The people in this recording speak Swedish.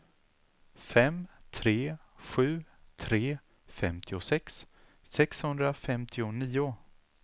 fem tre sju tre femtiosex sexhundrafemtionio